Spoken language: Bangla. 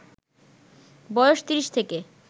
বয়স ৩০ থেকে